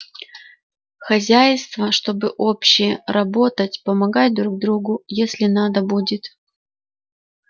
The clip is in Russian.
хозяйство чтобы общее работать помогать друг другу если надо будет